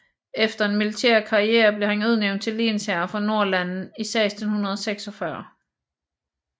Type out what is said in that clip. Efter en militær karrière blev han udnævnt til lensherre for Nordlandene i 1646